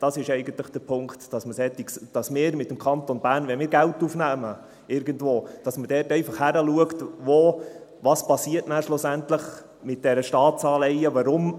Das ist eigentlich der Punkt, nämlich, dass wir, wenn wir als Kanton Bern irgendwo Geld aufnehmen, hinschauen, was schlussendlich mit diesen Staatsanleihen passiert.